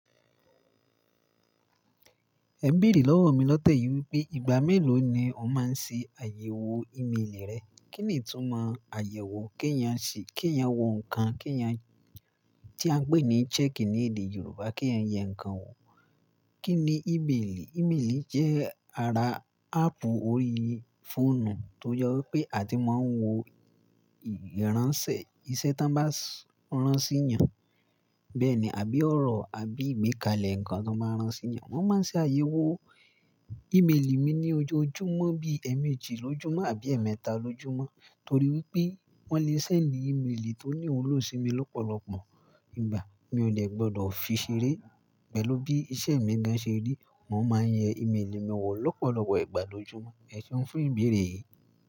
N ẹ bèrè lọ́wọ́ mi lọ́tẹ̀ yìí wípé ìgbà mélòó ni ó máa ń ṣe àyẹ̀wò ímélì rẹ̀. Kí nì itúmọ àyẹ̀wò? Kí ń yàn ṣí, kí ń yàn wo nǹkan, kí ń yàn tí a ń pè ní "check" ní èdè Yorùbá, kí ń yàn ǹkan wò. Kí ni ìmeeli? Ìmeeli jẹ́ ara áàpù orí fóònù tó jẹ́ wípé àti máa ń wo ìránṣẹ́, iṣẹ́ te wọ́n bá rán sínyàn. Bẹ́ẹ̀ ni, àbí ọ̀rọ̀ àbí ìgbékalẹ̀ ǹkan te máa rán sínyàn. Wọ́n máa ń ṣe àyẹ̀wò ímélì mi ní ojoojúmọ́ bí ẹ́ẹ̀mẹ́jì lójúmọ́ àbí ẹ̀ẹ̀mẹ́ta lójúmọ́ torí wípé wọ́n le sendi íméelì tó ní iwulo si mi lọ́pọ̀lọpọ̀ ìgbà. Mi ò dẹ gbọdọ̀ fi ṣeré. Pẹ̀lú bí iṣẹ́ mi gáń ṣerí, mo máa ń yẹ íméelì mi wò lọ́pọ̀lọpọ̀ ìgbà lójoojúmọ́. Ẹṣe ń fun ìbéèrè yìí?